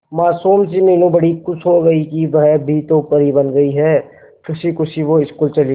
मासूम सी मीनू बड़ी खुश हो गई कि वह भी तो परी बन गई है खुशी खुशी वो स्कूल चली गई